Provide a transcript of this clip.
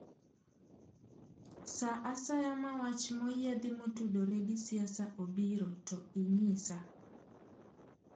Sa asaya ma wach moyiedhi motudore gi siasa obiro to inyisa